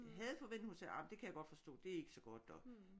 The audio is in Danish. Jeg havde forventet hun sagde jamen det kan jeg godt forstå det er ikke så godt og